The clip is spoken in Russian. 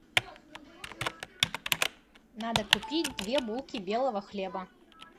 надо купить две булки белого хлеба